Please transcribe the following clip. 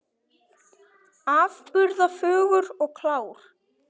Afburða fögur og klár.